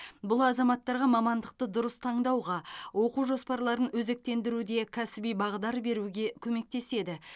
бұл азаматтарға мамандықты дұрыс таңдауға оқу жоспарларын өзектендіруде кәсіби бағдар беруге көмектеседі